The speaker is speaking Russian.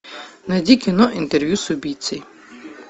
найди кино интервью с убийцей